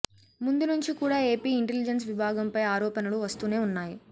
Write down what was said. ముందు నుంచి కూడా ఏపీ ఇంటెలిజెన్స్ విభాగం పై ఆరోపణలు వస్తూనే ఉన్నాయి